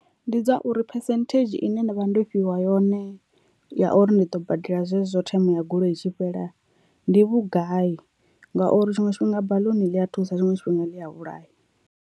Ndi dza uri phesenthedzhi ine nda vha ndo fhiwa yone ya uri ndi ḓo badela zwezwo themo ya goloi i tshi fhela ndi vhugai ngauri tshiṅwe tshifhinga baḽuni ḽi a thusa tshiṅwe tshifhinga ḽi a vhulaya.